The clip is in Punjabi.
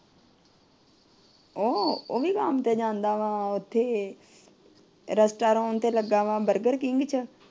ਉਹ ਉਹਵੀ ਕੰਮ ਤੇ ਜਾਂਦਾ ਵਾ ਉੱਥੇ ਰੇਸਟੌਰੈਂਟ ਤੇ ਲੱਗਾ ਵਾ ਬਰਗਰ ਕਿੰਗ ਚ।